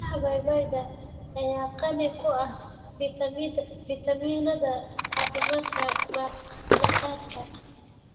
Miraha Papaya ayaa qani ku ah fitamiinada caafimaadka maqaarka.